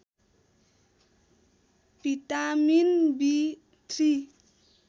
vitamin B three